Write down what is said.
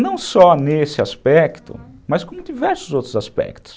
Não só nesse aspecto, mas com diversos outros aspectos.